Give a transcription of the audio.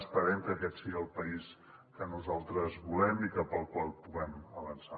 esperem que aquest sigui el país que nosaltres volem i cap al qual puguem avançar